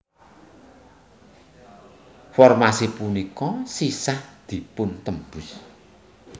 Formasi punika sisah dipun tembus